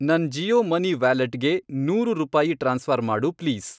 ನನ್ ಜಿಯೋ ಮನಿ ವ್ಯಾಲೆಟ್ಗೆ ನೂರು ರೂಪಾಯಿ ಟ್ರಾನ್ಸ್ಫ಼ರ್ ಮಾಡು ಪ್ಲೀಸ್.